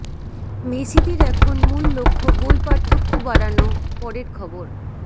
মেসিদের এখন মূল লক্ষ্য গোল পার্থক্য বাড়ানো পরের খবর